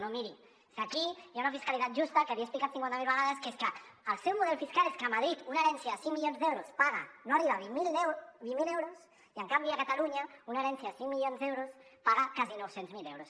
no miri és que aquí hi ha una fiscalitat justa que l’hi he explicat cinquanta mil vegades que és que el seu model fiscal és que a madrid una herència de cinc milions d’euros paga no arriba a vint mil euros i en canvi a catalunya una herència de cinc milions d’euros paga quasi nou cents miler euros